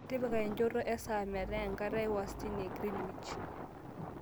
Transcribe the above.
tipika enchoto esaa metaa enkata ewastani e greenwich